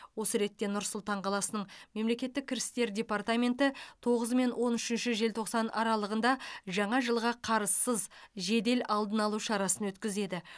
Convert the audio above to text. осы ретте нұр сұлтан қаласының мемлекеттік кірістер департаменті тоғызы мен он үшінші желтоқсан аралығында жаңа жылға қарызсыз жедел алдын алу шарасын өткізеді